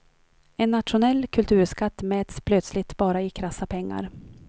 En nationell kulturskatt mäts plötsligt bara i krassa pengar.